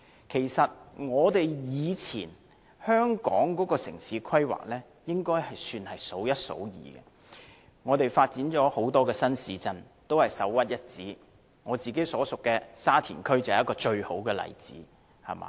其實，以前香港的城市規劃應該算是數一數二的，我們發展的很多新市鎮均是首屈一指，我所屬的沙田區便是一個最好的例子。